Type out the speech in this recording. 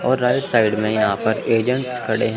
और right side में यह पर एजेंट्स खड़े हैं।